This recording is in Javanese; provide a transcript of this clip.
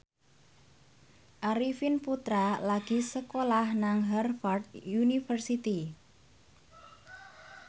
Arifin Putra lagi sekolah nang Harvard university